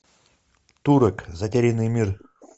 турок затерянный мир